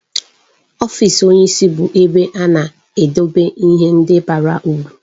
Ọfịs onyeisi bụ ebe a na-edobe ihe ndị bara uru.